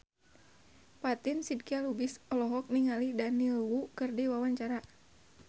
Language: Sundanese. Fatin Shidqia Lubis olohok ningali Daniel Wu keur diwawancara